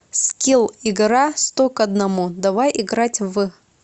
скилл игра сто к одному давай играть в